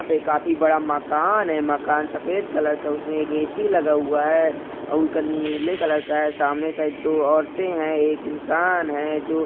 पे काफी बड़ा मकान है मकान सफ़ेद कलर का उसमे एक ए.सी लगा हुआँ है उनका नीले कलर का है सामने से दो औरते है एक इन्सान है जो --